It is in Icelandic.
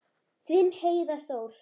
Þinn Heiðar Þór.